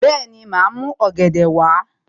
Bẹ́ẹ̀ni, màá mú ọ̀gẹ̀dẹ̀ wá